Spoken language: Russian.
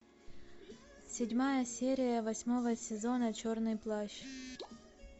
седьмая серия восьмого сезона черный плащ